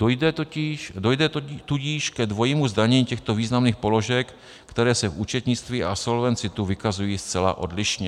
Dojde tudíž ke dvojímu zdanění těchto významných položek, které se v účetnictví a Solvency II vykazují zcela odlišně.